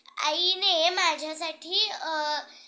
आईने माझ्यासाठी अ